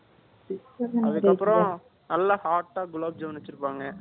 அதுக்கப்புறம், நல்லா hot ஆ, குலாப் ஜாமுன் வச்சிருப்பாங்க